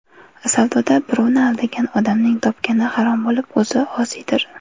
Savdoda birovni aldagan odamning topgani harom bo‘lib, o‘zi osiydir.